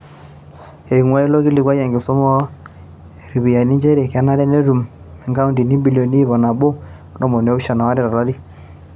Einguaa ilo kilikuai enkisuma o ropiyiyiani nchere kenare netum inkaontini imbiliomi ip nabo o ntomoni oopishana o aare to lari.